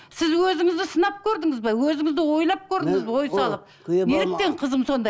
сіз өзіңізді сынап көрдіңіз бе өзіңізді ойлап көрдіңіз бе ой салып неліктен қызым сондай